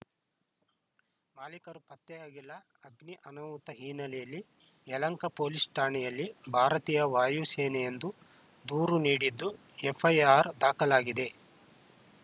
ಮಾಲಿಕರು ಪತ್ತೆಯಾಗಿಲ್ಲ ಅಗ್ನಿ ಅನಾಹುತ ಹಿನ್ನೆಲೆಯಲ್ಲಿ ಯಲಹಂಕ ಪೊಲೀಸ್‌ ಠಾಣೆಯಲ್ಲಿ ಭಾರತೀಯ ವಾಯುಸೇನೆ ಎಂದು ದೂರು ನೀಡಿದ್ದು ಎಫ್‌ಐಆರ್‌ ದಾಖಲಾಗಿದೆ